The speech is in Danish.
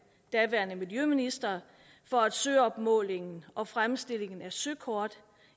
daværende miljøminister for at søopmålingen og fremstillingen af søkort